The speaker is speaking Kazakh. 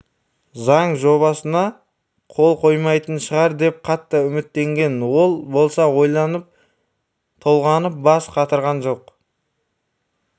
заң жобасына қол қоймайтын шығар деп қатты үміттенген ол болса ойланып толғанып бас қатырған жоқ